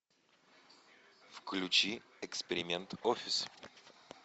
включи эксперимент офис